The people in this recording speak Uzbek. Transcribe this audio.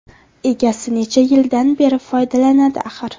Egasi necha yildan beri foydalanadi axir.